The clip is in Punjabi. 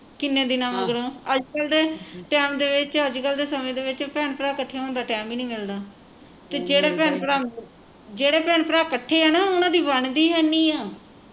ਕਿੰਨੇ ਦਿਨਾਂ ਮਗਰੋਂ ਅੱਜਕਲ ਤੇ ਟੈਮ ਦੇ ਵਿਚ ਅੱਜਕਲ ਦੇ ਸਮੇਂ ਦੇ ਵਿਚ ਭੈਣ ਭਰਾ ਕੱਠੇ ਹੋਣ ਦਾ ਟੈਮ ਹੀ ਨਹੀਂ ਮਿਲਦਾ ਤੇ ਜਿਹੜੇ ਭੈਣ ਭਰਾ ਤੇ ਜਿਹੜੇ ਭੈਣ ਭਰਾ ਕੱਠੇ ਆ ਨਾ ਉਹਨਾਂ ਦੀ ਬਣਦੀ ਇੰਨੀ ਆ